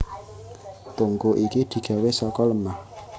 Tungku iki digawé saka lemah